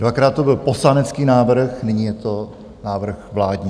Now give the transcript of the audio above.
Dvakrát to byl poslanecký návrh, nyní je to návrh vládní.